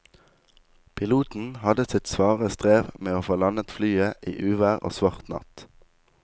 Piloten hadde sitt svare strev med å få landet flyet i uvær og svart natt.